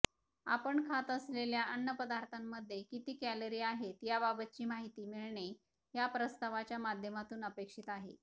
आपण खात असलेल्या अन्नपदार्थांमध्ये किती कॅलरी आहेत याबाबतची माहिती मिळणे या प्रस्तावाच्या माध्यमातून अपेक्षित आहे